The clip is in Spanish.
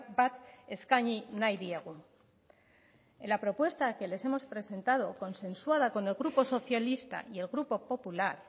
bat eskaini nahi diegu en la propuesta que les hemos presentado consensuada con el grupo socialista y el grupo popular